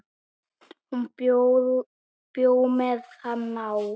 Hún bjó með hann á